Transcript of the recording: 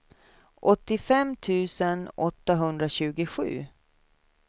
åttiofem tusen åttahundratjugosju